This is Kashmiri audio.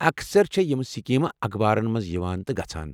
اکثر چھےٚ یمہٕ سکیٖمہٕ اخبارن منٛز یوان تہٕ گژھان۔